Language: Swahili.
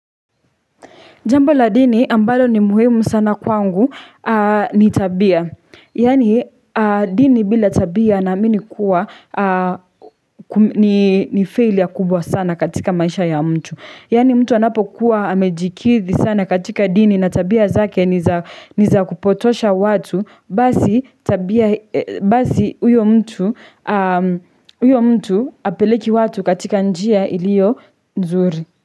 Jambo la dini ambalo ni muhimu sana kwangu ni tabia. Yaani dini bila tabia naamini kuwa ni failure kubwa sana katika maisha ya mtu. Yaani mtu anapokuwa amejikithi sana katika dini na tabia zake ni za ni za kupotosha watu basi tabia huyo mtu huyo mtu hapeleki watu katika njia iliyo nzuri.